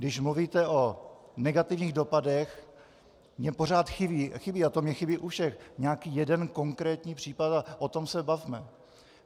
Když mluvíte o negativních dopadech, mně pořád chybí - a to mi chybí u všech - nějaký jeden konkrétní případ a o tom se bavme.